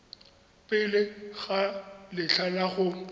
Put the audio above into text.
pele ga letlha la go